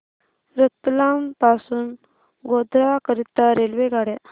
रतलाम पासून गोध्रा करीता रेल्वेगाड्या